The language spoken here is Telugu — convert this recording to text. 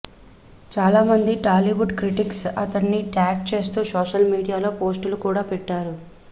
చాలామంది టాలీవుడ్ క్రిటిక్స్ అతడ్ని ట్యాగ్ చేస్తూ సోషల్ మీడియాలో పోస్టులు కూడా పెట్టారు